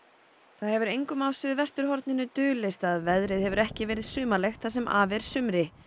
það hefur engum á suðvesturhorninu dulist að veðrið hefur ekki verið sumarlegt það sem af er sumri